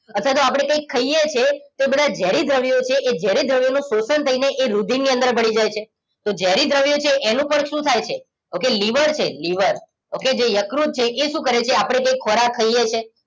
અથવા તો આપણે કંઈક ખાઈએ છીએ તો બધા ઝેરી દ્રવ્યો છે એ ઝેરી દ્રવ્યોનું શોષણ થઈને એ રુધિરની અંદર ભળી જાય છે તો ઝેરી દ્રવ્યો છે એનું પણ શું થાય છે okay લીવર છે લીવર okay જે યકૃત છે એ શું કરે છે આપણે કંઈક ખોરાક ખાઈએ છીએ